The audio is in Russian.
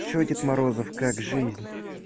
что дед морозов как жизнь